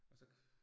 Og så